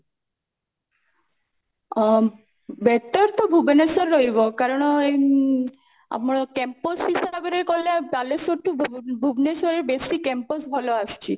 ଅ better ତ ଭୁବନେଶ୍ବର ରହିବ କାରଣ ଉଁ ଆମର campus ହିସାବରେ ଗଲେ ବାଲେଶ୍ଵର ଠୁ ଭୁବନେଶ୍ବରରେ ବେଶୀ campus ଭଲ ଆସିଛି